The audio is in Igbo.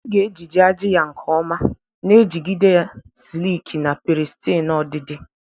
pusi ga-ejiji ajị ya nke ọma, na-ejigide ya sileki na pirisitinu ọdịdị.